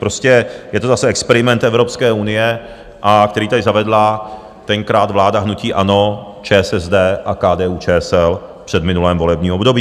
Prostě je to zase experiment Evropské unie, který tady zavedla tenkrát vláda hnutí ANO, ČSSD a KDU ČSL v předminulém volebním období.